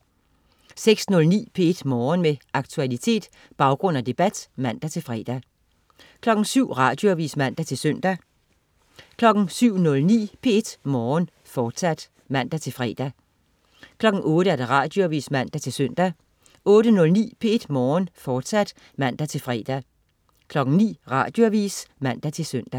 06.09 P1 Morgen. Med aktualitet, baggrund og debat (man-fre) 07.00 Radioavis (man-søn) 07.09 P1 Morgen, fortsat (man-fre) 08.00 Radioavis (man-søn) 08.09 P1 Morgen, fortsat (man-fre) 09.00 Radioavis (man-søn)